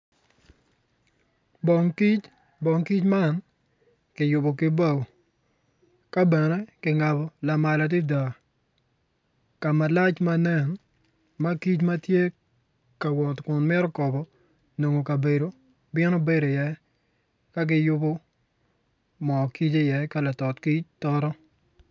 Bong kic bong kic man kiyubo kibao ka bene kingaob lamal adada ka malac manen ma kic ma tye ka wot kun mito kobo nongo kabedo bino bedo ieye.